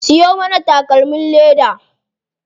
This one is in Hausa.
Siyo mana takalmin leda.